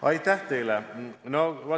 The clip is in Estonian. Aitäh teile!